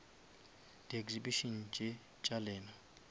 di exhibition tše tša lena